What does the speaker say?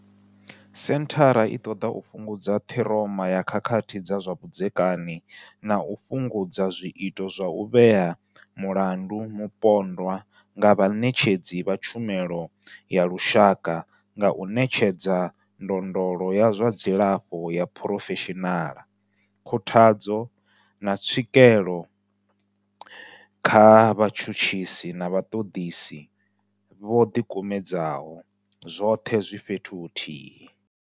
Senthara i ṱoḓa u fhungudza ṱhiroma ya khakhathi dza zwa vhudzekani na u fhungudza zwiito zwa u vhea mulandu mupondwa nga vhaṋetshedzi vha tshumelo ya lushaka nga u ṋetshedza ndondolo ya zwa dzilafho ya phurofeshinala, khuthadzo, na tswikelo kha vhatshutshisi na vhaṱoḓisi vho ḓikumedzaho, zwoṱhe zwi fhethu huthihi.